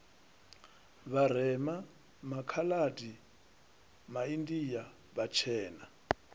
vharema makha adi maindia vhatshena